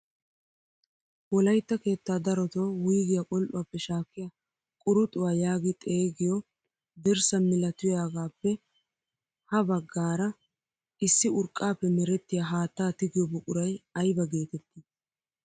Wolaytta keettaa darotoo wuygiyaa qol"uwaappe shaakkiyaa quruxuwaa yaagi xeegiyoo dirssa milatuyaagappe ha baggara issi urqqaappe merettiyaa haattaa tigiyoo buquray ayba geetettii?